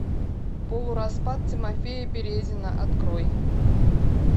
полураспад тимофея березина открой